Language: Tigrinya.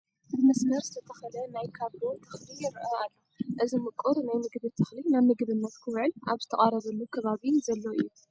ብመስመር ዝተተኸለ ናይ ካብሎ ተኽሊ ይርአ ኣሎ፡፡ እዚ ምቁር ናይ ምግቢ ተኽሊ ናብ ምግብነት ክውዕል ኣብ ዝተቓረበሉ ከባቢ ዘሎ እዩ፡፡